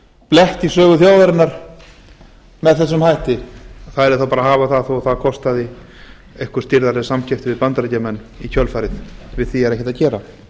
blett í sögu þjóðarinnar með þessum hætti það yrði þá bara að hafa það þó að það kostaði eitthvað stirðari samskipti við bandaríkjamenn í kjölfarið við því er ekkert að gera